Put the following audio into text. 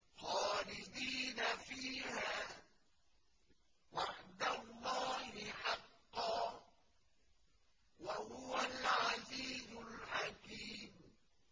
خَالِدِينَ فِيهَا ۖ وَعْدَ اللَّهِ حَقًّا ۚ وَهُوَ الْعَزِيزُ الْحَكِيمُ